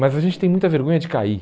Mas a gente tem muita vergonha de cair.